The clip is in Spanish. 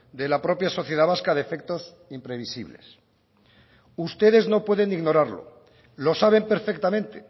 de la propia sociedad vasca de efectos imprevisibles ustedes no pueden ignorarlo lo saben perfectamente